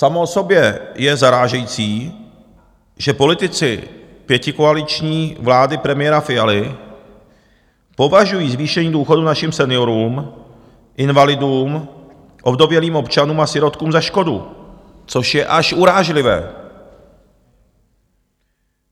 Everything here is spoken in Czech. Samo o sobě je zarážející, že politici pětikoaliční vlády premiéra Fialy považují zvýšení důchodů našim seniorům, invalidům, ovdovělým občanům a sirotkům za škodu, což je až urážlivé.